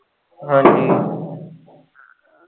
ਹਾਂਜੀ।